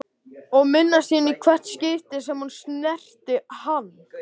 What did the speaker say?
Og minnast sín í hvert skipti sem hún snerti hann.